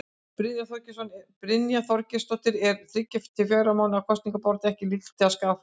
Brynja Þorgeirsdóttir: Er þriggja til fjögurra mánaða kosningabarátta ekki líkleg til að skaða flokkinn?